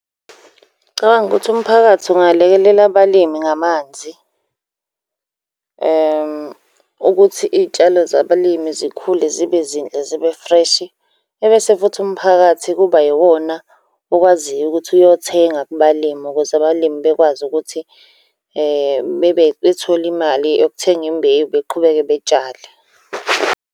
Ngicabanga ukuthi umphakathi ungalekelela abalimi ngamanzi, ukuthi iy'tshalo zabalimi zikhule zibe zinhle zibe-fresh. Ebese futhi umphakathi kuba iwona okwaziyo ukuthi uyothenga kubalimi ukuze abalimi bekwazi ukuthi bethole imali yokuthenga imbewu beqhubeke betshale.